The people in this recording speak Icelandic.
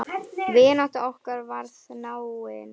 Vinátta okkar varð náin.